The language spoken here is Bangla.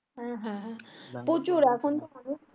হ্যাঁ হ্যাঁ হ্যাঁ প্রচুর এখন তো হবে